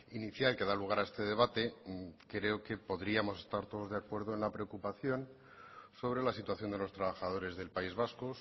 inicial que da lugar a este debate creo que podríamos estar todos de acuerdo en la preocupación sobre la situación de los trabajadores del país vasco